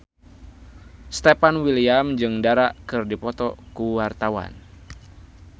Stefan William jeung Dara keur dipoto ku wartawan